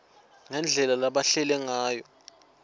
ngendlela labahleti ngayo